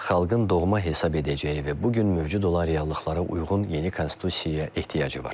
Xalqın doğma hesab edəcəyi və bu gün mövcud olan reallıqlara uyğun yeni konstitusiyaya ehtiyacı var.